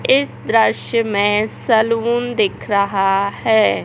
इस दृश्य में सैलून दिख रहा है।